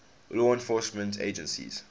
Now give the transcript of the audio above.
law enforcement agencies